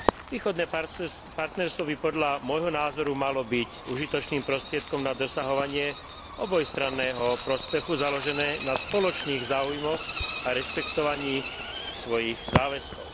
Východné partnerstvo by podľa môjho názoru malo byť užitočným prostriedkom na dosahovanie obojstranného prospechu založené na spoločných záujmoch a rešpektovaní svojich záväzkov.